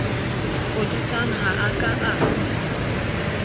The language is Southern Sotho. kodisang ha a ka a